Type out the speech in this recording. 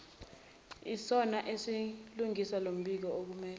isona esilungisa lombikookumele